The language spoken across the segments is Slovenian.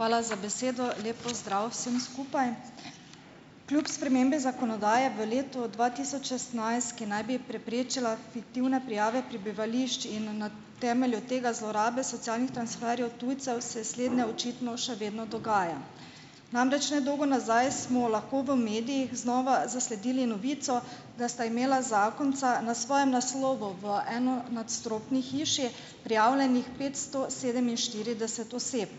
Hvala za besedo. Lep pozdrav vsem skupaj! Kljub spremembi zakonodaje v letu dva tisoč šestnajst, ki naj bi preprečila fiktivne prijave prebivališč in na temelju tega zlorabe socialnih transferjev tujcev, se slednje očitno še vedno dogaja. Namreč ne dolgo nazaj smo lahko v medijih znova zasledili novico, da sta imela zakonca na svojem naslovu v enonadstropni hiši prijavljenih petsto sedeminštirideset oseb.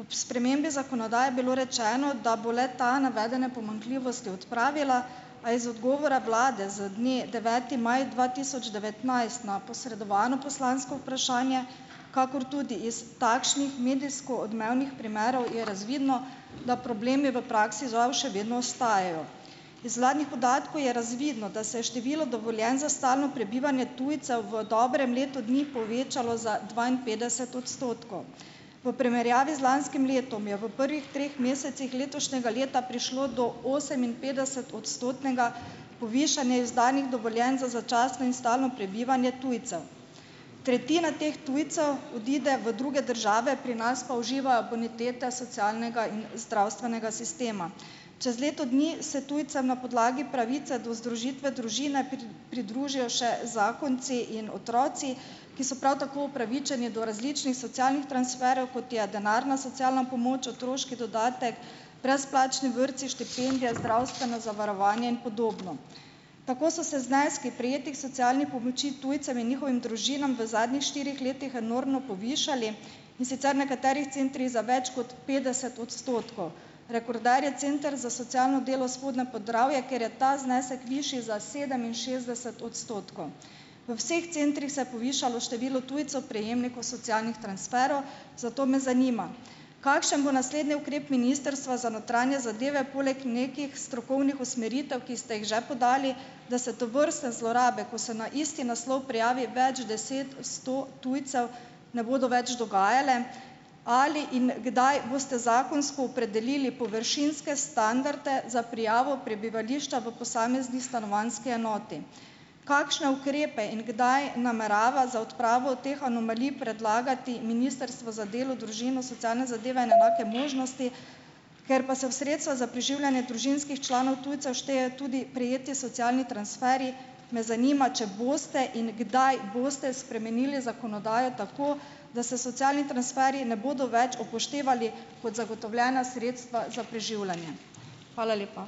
Ob spremembi zakonodaje je bilo rečeno, da bo le- ta navedene pomanjkljivosti odpravila, a je iz odgovora vlade z dne deveti maj dva tisoč devetnajst na posredovano poslansko vprašanje, kakor tudi iz takšnih medijsko odmevnih primerov, je razvidno, da problemi v praksi žal še vedno ostajajo. Iz uradnih podatkov je razvidno, da se je število dovoljenj za stalno prebivanje tujcev v dobrem letu dni povečalo za dvainpetdeset odstotkov. V primerjavi z lanskim letom je v prvih treh mesecih letošnjega leta prišlo do oseminpetdesetodstotnega povišanja izdanih dovoljenj za začasno in stalno prebivanje tujcev, tretjina teh tujcev odide v druge države, pri nas pa uživa bonitete socialnega in zdravstvenega sistema. Čez leto dni se tujcem na podlagi pravice do združitve družine pridružijo še zakonci in otroci, ki so prav tako upravičeni do različnih socialnih transferjev, kot je denarna socialna pomoč, otroški dodatek, brezplačni vrtci, štipendije, zdravstveno zavarovanje in podobno. Tako so se zneski prejetih socialnih pomoči tujcem in njihovim družinam v zadnjih štirih letih enormno povišali, in sicer v nekaterih centrih za več kot petdeset odstotkov. Rekorder je Center za socialno delo Spodnje Podravje, kjer je ta znesek višji za sedeminšestdeset odstotkov. V vseh centrih se je povišalo število tujcev prejemnikov socialnih transferov, zato me zanima: Kakšen bo naslednji ukrep Ministrstva za notranje zadeve poleg nekih strokovnih usmeritev, ki ste jih že podali, da se tovrstne zlorabe, ko se na isti naslov prijavi več deset, sto tujcev, ne bodo več dogajale? Ali in kdaj boste zakonsko opredelili površinske standarde za prijavo prebivališča v posamezni stanovanjski enoti? Kakšne ukrepe in kdaj namerava za odpravo teh anomalij predlagati Ministrstvo za delo, družino, socialne zadeve in enake možnosti? Ker pa se v sredstva za preživljanje družinskih članov tujcev šteje tudi prejetje socialnih transferjev me zanima, če boste in kdaj boste spremenili zakonodajo tako, da se socialni transferji ne bodo več upoštevali kot zagotovljena sredstva za preživljanje. Hvala lepa.